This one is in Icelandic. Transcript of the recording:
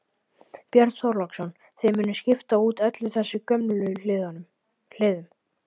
Björn Þorláksson: Þið munuð skipta út öllum þessum gömlu hliðum?